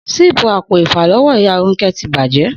Síìpù apo àfàló̩wó̩ ìyá Rónké̩ ti bàjé̩